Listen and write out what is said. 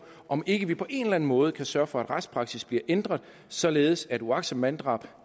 om ikke vi på en eller anden måde kan sørge for at retspraksis bliver ændret således at uagtsomt manddrab